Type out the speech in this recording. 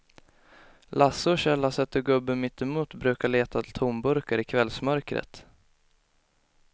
Lasse och Kjell har sett hur gubben mittemot brukar leta tomburkar i kvällsmörkret.